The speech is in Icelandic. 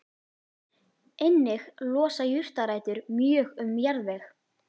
Einnig losa jurtarætur mjög um jarðveg.